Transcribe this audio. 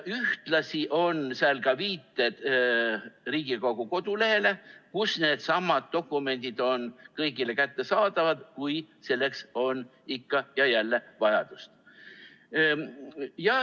Ühtlasi on seal ka viited Riigikogu kodulehele, kus needsamad dokumendid on kõigile kättesaadavad, kui selleks on ikka ja jälle vajadust.